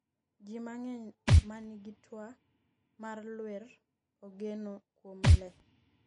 ji mang'eny ma nigi twa mar lwer ogeno kuom lee